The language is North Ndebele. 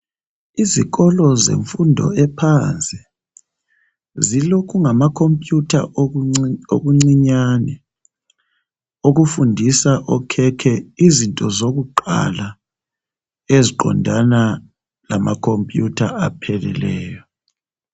Ezikolo zemfundo ephansi zilokungamakhompiyutha okuncinyane okufundisa okhekhe izinto zokuqala eziqondana lamakhompiyutha apheleleyo.